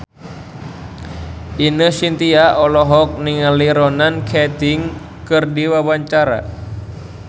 Ine Shintya olohok ningali Ronan Keating keur diwawancara